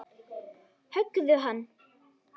Höggðu hann!